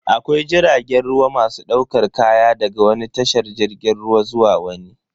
Akwai jiragen ruwa masu daukar kaya daga wani tashar jirgin ruwa zuwa wani.